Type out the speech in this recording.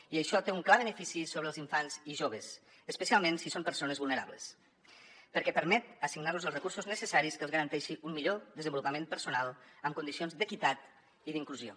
i això té un clar benefici sobre els infants i joves especialment si són persones vulnerables perquè permet assignar los els recursos necessaris que els garanteixin un millor desenvolupament personal en condicions d’equitat i d’inclusió